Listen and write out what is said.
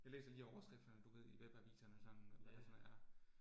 Jeg læser lige overskrifterne du ved i webaviserne og sådan, og hvad det sådan er